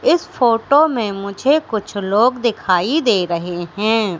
इस फोटो में मुझे कुछ लोग दिखाई दे रहे हैं।